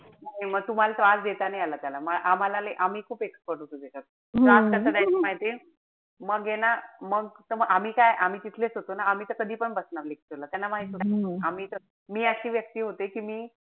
हम्म म तुम्हाला त्रास देता नाई आला त्याला. मला आम्हाला लै आम्ही खूप expert होतो त्याच्यात. त्रास कसा द्यायचा माहितीये? मग ए ना मग त आम्ही काय आम्ही तिथलेच होतो ना आम्ही त कधी पण बनार lecture ला. त्यांना माहिती होत. आम्ही त मी अशी व्यक्ती होते कि मी,